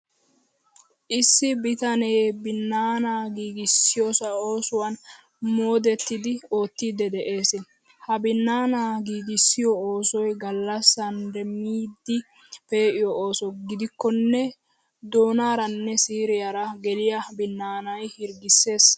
Issi bitanee binnaanaa giigissiyoo oosuwan moodettidi oottiiddi de'ees. Ha binnaanaa giigissiyo oosoy gallassan demmidi pee'iyo ooso gidikkonne, doonaaraanne siiriyaara geliyaa binnaanay hirggissees.